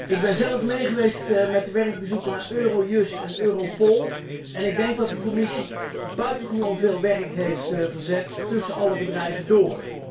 Ik ben zelf mee geweest met de werkbezoeken naar Eurojust en Europol en ik denk dat de commissie buitengewoon veel werk heeft verzet tussen alle bedrijven door.